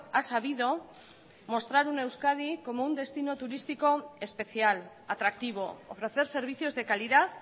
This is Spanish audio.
ha sabido mostrar una euskadi como un destino turístico especial atractivo ofrecer servicios de calidad